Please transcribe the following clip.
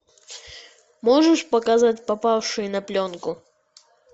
можешь показать попавшие на пленку